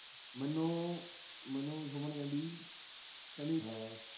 ਮੈਨੂੰ ਮੈਨੂੰ ਸੁਮਨ ਕਹਿੰਦੀ ਕਹਿੰਦੀ